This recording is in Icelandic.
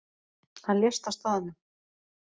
Hann lést á staðnum